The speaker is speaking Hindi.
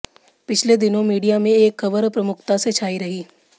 पिछले दिनों मीडिया में एक खबर प्रमुखता से छाई रही